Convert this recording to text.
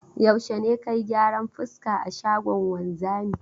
Yaushe ne ka yi gyaran fuska a shagon wanzami?